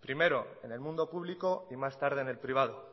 primero en el mundo público y más tarde en el privado